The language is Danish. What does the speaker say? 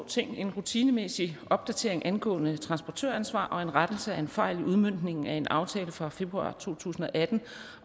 ting en rutinemæssig opdatering angående transportøransvar og en rettelse af en fejl i udmøntningen af en aftale fra februar to tusind og atten